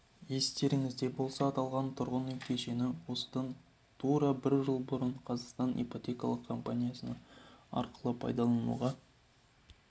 естеріңізде болса аталған тұрғын үй кешені осыдан тура бір жыл бұрын қазақстан ипотекалық компаниясы арқылы пайдалануға